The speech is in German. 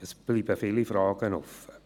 Es bleiben viele Fragen offen.